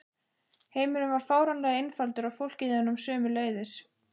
Heimurinn varð fáránlega einfaldur og fólkið í honum sömuleiðis.